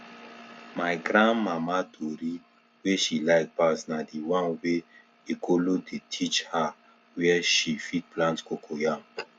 my grandmama tori wey she like pass na d one wey ekolo dey teach her where she fit plant cocoyam